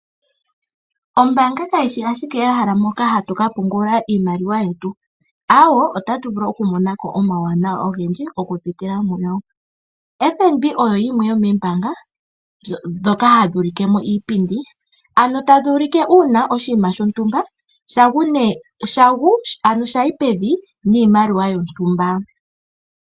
Ombaanga kayishi ashike ehala hoka hatu ka pungula iimaliwa yetu. Aawe! Ota tu vulu oku mona ko omawuwanawa ogendji oku pitila muyo. FNB oyo yimwe yomoombaanga ndhoka hadhi ulike mo iipindi. Tadhi ulike uuna oshinima shontumba sha yi pevi niimaliwa yontumba.